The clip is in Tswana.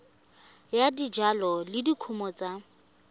ya dijalo le dikumo tsa